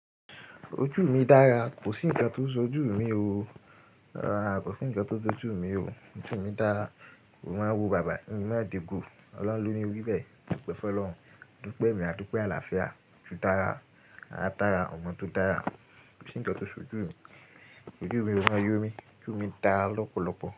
Ojú mi dára, kò sí ǹkan tó so ojú mi o. Rárá, kò sí ǹkan tó so ojú mi o. Ojú mi dára, mo máa wo bàbá mi, in máa dego. Ọlọ́run ló ní wí bẹ́ẹ̀, ọpẹ̀ fun lọ́run, a dúpẹ́ ẹmi àdupẹ̀ àlàáfíà, ojú dára, ara dára, ọmọ tó dára, kò sí ǹkan tó so ojú mi. Ìdúró mi máa yọ mí, ojú mi dára lọ́pọ̀lọpọ̀.